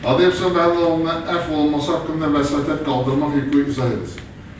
Hadiyev İslam Məhəmməd oğlunun əfv olunması haqqında vəsatət qaldırmaq hüququ izah edilsin.